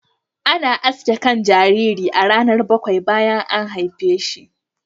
Ana aske kan jariri a ranar bakwai bayan an haife shi.